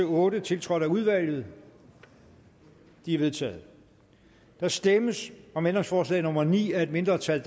en otte tiltrådt af udvalget de er vedtaget der stemmes om ændringsforslag nummer ni af et mindretal